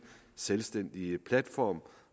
selvstændig platform